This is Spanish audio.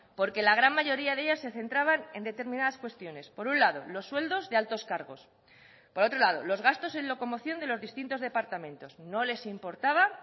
porque la gran mayoría de ellas se centraban en determinadas cuestiones por un lado los sueldos de altos cargos por otro lado los gastos en locomoción de los distintos departamentos no les importaba